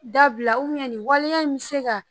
Dabila ubiyɛn nin waleya in mi se ka